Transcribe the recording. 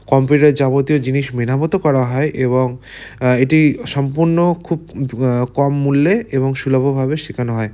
Computer যাবতীয় জিনিস মেরামতো করা হয় এবং এটি সম্পূর্ণ খুব কম মূল্যে এবং সুলভ ভাবে শেখানো হয় ।